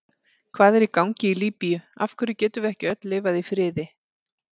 Hvað er í gangi í Líbíu, af hverju getum við ekki öll lifað í friði?